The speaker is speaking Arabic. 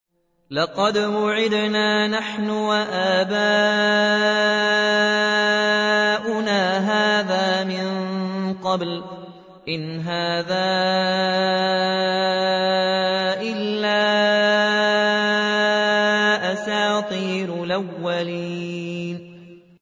لَقَدْ وُعِدْنَا نَحْنُ وَآبَاؤُنَا هَٰذَا مِن قَبْلُ إِنْ هَٰذَا إِلَّا أَسَاطِيرُ الْأَوَّلِينَ